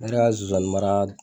Ne yɛrɛ ka sonsannin mara